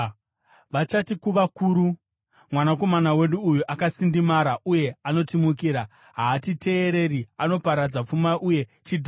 Vachati kuvakuru, “Mwanakomana wedu uyu akasindimara uye anotimukira. Haatiteereri. Anoparadza pfuma uye chidhakwa.”